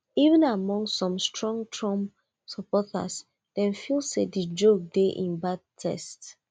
even among some strong trump supporters dem feel say di joke dey in bad taste